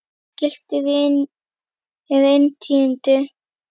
Glitnir er inn tíundi